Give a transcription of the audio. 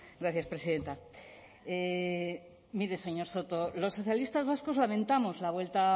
gracias presidenta mire señor soto los socialistas vascos lamentamos la vuelta